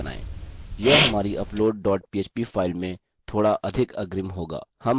यह हमारी upload dot php file में थोड़ा अधिक अग्रिम होगा